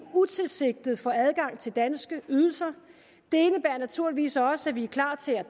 utilsigtet får adgang til danske ydelser det indebærer naturligvis også at vi er klar til at